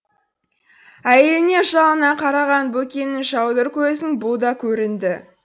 әйеліне жалына қараған бөкеннің жаудыр көзін бұ да көрінді